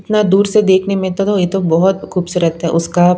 इतना दूर से देखने में त तो ये तो बहुत खूबसूरत है उसका--